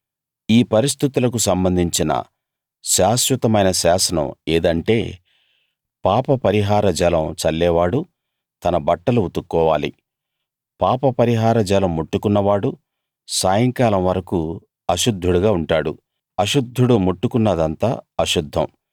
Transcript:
ఈ పరిస్థితులకు సంబంధించిన శాశ్వతమైన శాసనం ఏదంటేపాపపరిహార జలం చల్లేవాడు తన బట్టలు ఉతుక్కోవాలి పాపపరిహార జలం ముట్టుకున్నవాడు సాయంకాలం వరకూ అశుద్ధుడుగా ఉంటాడు అశుద్ధుడు ముట్టుకున్నదంతా అశుద్ధం